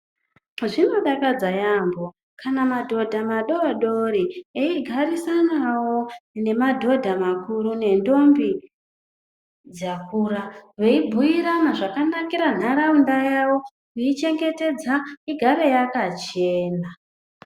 Zvinodakadza yaamho kana madhodha vadodori eigarisanawo nemadhodha makuru nentombi dzakura veibhiirana zvakanakira nharaunda yavo kuichengetedza igare yakachena.